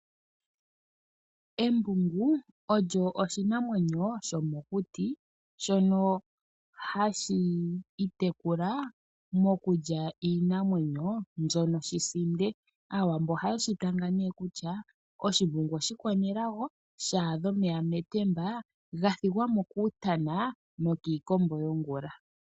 Embungu olyo oshinamwenyo shomokuti, shono hashi itekula mokulya iinamwenyo mbyono shi sinde. Aawambo ohaye shi tanga nee kutya: "Oshimbungu oshikwanelago shaadha omeya metemba, ga thigwa mo kuutana nokiikombo yongula."